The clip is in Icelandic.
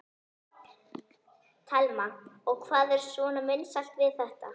Telma: Og hvað er svona vinsælt við þetta?